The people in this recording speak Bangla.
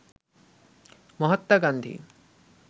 মহাত্মা গান্ধী